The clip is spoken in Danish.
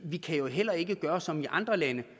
vi kan heller ikke gøre som i andre lande